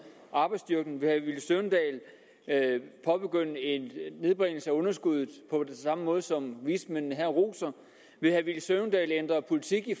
arbejdsstyrken vil herre villy søvndal påbegynde en nedbringelse af underskuddet på den samme måde som vismændene her roser vil herre villy søvndal ændre politik i